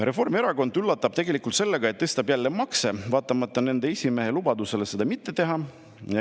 Reformierakond üllatab tegelikult sellega, et tõstab jälle makse, vaatamata nende esimehe lubadusele seda mitte teha.